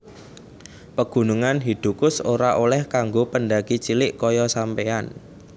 Pegunungan Hidukush ora oleh kanggo pendaki cilik koyo sampeyan